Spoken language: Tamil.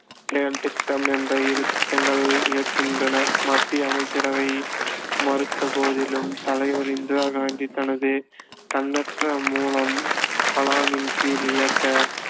செயல் திட்டம் என்ற இரு திட்டங்கள் இயக்கின்றனர் மத்திய அமைச்சரவை மறுத்தபோதிலும் தலைவர் இந்திரா காந்தி தனது தன்னற்ற மூலம் கலாமின் கீழ் இயக்க